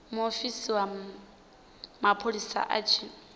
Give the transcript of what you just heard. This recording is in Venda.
muofisi wa mapholisa a tshi